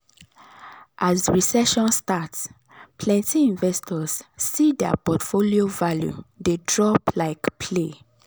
as recession start plenty investors see dir portfolio value de drop like play